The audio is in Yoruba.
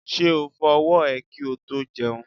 Ṣé o fọ ọwọ́ ẹ kí o tó jẹun?